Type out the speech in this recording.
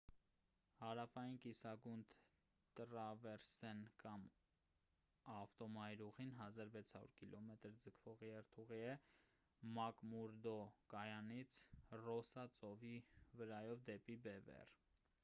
հարավային կիսագունդ տռավեռսեն կամ ավտոմայրուղին 1600 կմ ձգվող երթուղի է՝ մակմուրդո կայանից ռոսսա ծովի վրայով դեպի բևեռ։